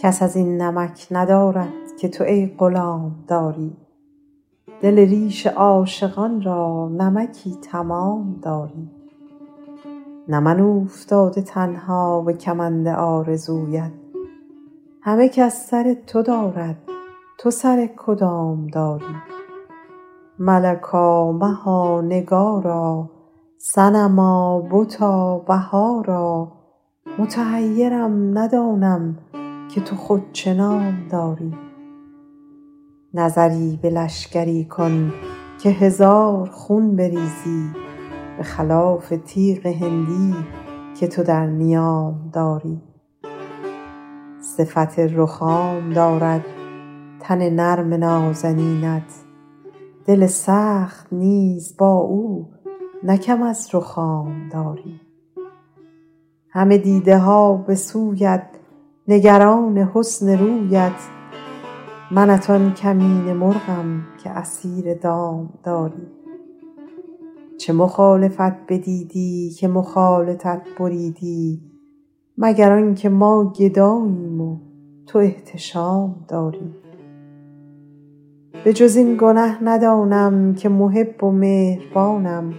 کس از این نمک ندارد که تو ای غلام داری دل ریش عاشقان را نمکی تمام داری نه من اوفتاده تنها به کمند آرزویت همه کس سر تو دارد تو سر کدام داری ملکا مها نگارا صنما بتا بهارا متحیرم ندانم که تو خود چه نام داری نظری به لشکری کن که هزار خون بریزی به خلاف تیغ هندی که تو در نیام داری صفت رخام دارد تن نرم نازنینت دل سخت نیز با او نه کم از رخام داری همه دیده ها به سویت نگران حسن رویت منت آن کمینه مرغم که اسیر دام داری چه مخالفت بدیدی که مخالطت بریدی مگر آن که ما گداییم و تو احتشام داری به جز این گنه ندانم که محب و مهربانم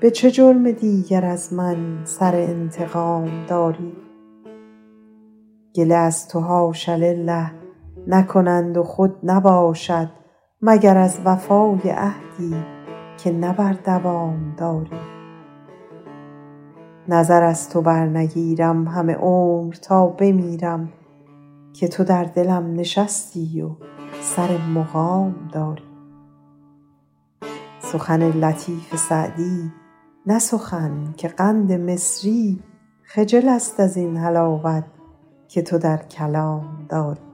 به چه جرم دیگر از من سر انتقام داری گله از تو حاش لله نکنند و خود نباشد مگر از وفای عهدی که نه بر دوام داری نظر از تو برنگیرم همه عمر تا بمیرم که تو در دلم نشستی و سر مقام داری سخن لطیف سعدی نه سخن که قند مصری خجل است از این حلاوت که تو در کلام داری